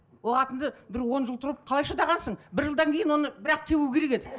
ол қатынды бір он жыл тұрып қалай шыдағансың бір жылдан кейін оны бір ақ тебу керек еді